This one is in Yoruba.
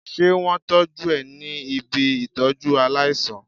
Ṣé wón tọ́jú ẹ ní ibi Ìtọ́jú aláìsàn?